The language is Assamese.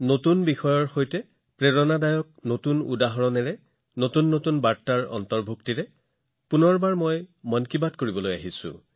নতুন বিষয়ৰ সৈতে নতুন অনুপ্ৰেৰণাদায়ক উদাহৰণ নতুন বাৰ্তাৰ সৈতে মই পুনৰ এবাৰ আপোনালোকৰ মন কী বাতত অংশগ্ৰহণ কৰিছো